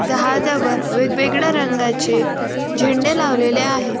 जहाजावर वेगवेगळ्या रंगाचे झेंडे लावलेले आहेत.